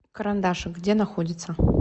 карандашик где находится